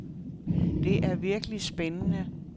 Det er det virkelig spændende.